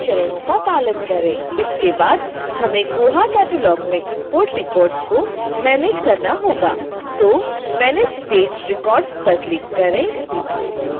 इसके बाद हमें koha catalog में इंपोर्टrecords को मैनेज करना होगा तो manage staged records पर क्लिक करें